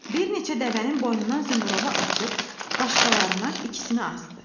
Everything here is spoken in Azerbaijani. Bir neçə dəvənin boynundan zınqrovu açıb, başqalarına ikisini asdı.